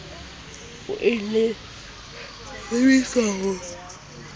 o e lebiswa ho wa